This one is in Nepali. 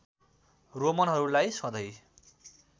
रोमनहरूलाई सधैँ